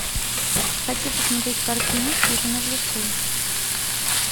хочу посмотреть картину хижина в лесу